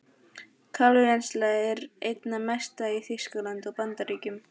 Kalívinnsla er einna mest í Þýskalandi og Bandaríkjunum.